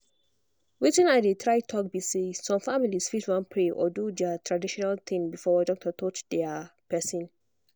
weytin i dey try talk be say some families fit wan pray or do their traditional thing before doctor touch their person.